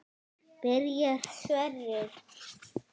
Byrjar Sverrir?